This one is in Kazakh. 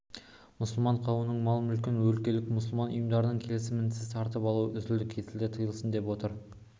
мұсылман қауымының мал-мүлкін өлкелік мұсылман ұйымдарының келісімінсіз тартып алу үзілді-кесілді тыйылсын деп отыр